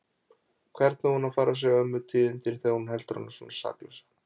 Hvernig á hún að fara að segja ömmu tíðindin þegar hún heldur hana svona saklausa?